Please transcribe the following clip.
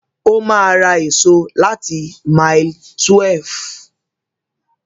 Ó ma ra èso láti mile 12